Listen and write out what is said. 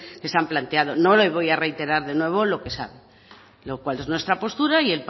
que se han planteado no le voy a reiterar de nuevo lo que se ha lo cual es nuestra postura y